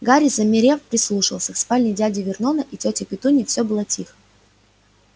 гарри замерев прислушался в спальне дяди вернона и тёти петуньи всё было тихо